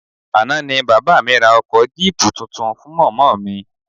Àná ni bàbá mi ra ọkọ jíìpù tuntun fún mọ̀mọ́ mi